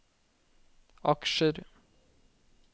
aksjer